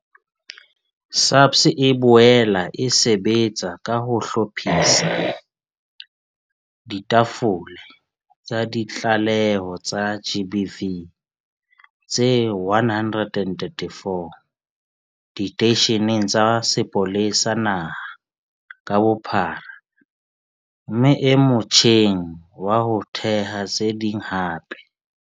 SAPS e boela e sebetsa ka ho hlophisa ditafole tsa ditlaleho tsa GBV tse 134 diteisheneng tsa sepolesa naha ka bophara mme e motjheng wa ho theha tse ding hape.